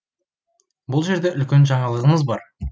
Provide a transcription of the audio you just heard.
бұл жерде үлкен жаңалығымыз бар